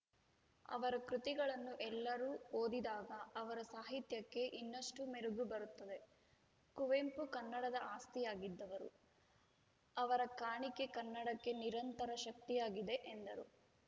ಅವರ ಕೃತಿಗಳನ್ನು ಎಲ್ಲರೂ ಓದಿದಾಗ ಅವರ ಸಾಹಿತ್ಯಕ್ಕೆ ಇನ್ನುಷ್ಟುಮೆರಗು ಬರುತ್ತದೆ ಕುವೆಂಪು ಕನ್ನಡದ ಆಸ್ತಿಯಾಗಿದ್ದವರು ಅವರ ಕಾಣಿಕೆ ಕನ್ನಡಕ್ಕೆ ನಿರಂತರ ಶಕ್ತಿಯಾಗಿದೆ ಎಂದರು